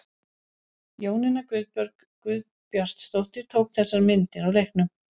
Jónína Guðbjörg Guðbjartsdóttir tók þessar myndir á leiknum.